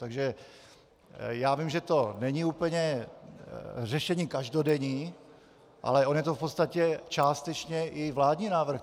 Takže já vím, že to není úplně řešení každodenní, ale on je to v podstatě částečně i vládní návrh.